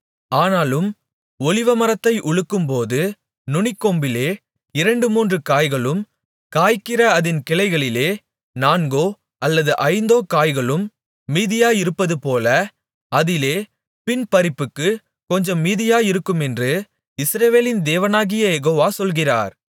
ஆனாலும் ஒலிவமரத்தை உலுக்கும்போது நுனிக்கொம்பிலே இரண்டு மூன்று காய்களும் காய்க்கிற அதின் கிளைகளிலே நான்கோ அல்லது ஐந்தோ காய்களும் மீதியாயிருப்பதுபோல அதிலே பின்பறிப்புக்குக் கொஞ்சம் மீதியாயிருக்குமென்று இஸ்ரவேலின் தேவனாகிய யெகோவா சொல்கிறார்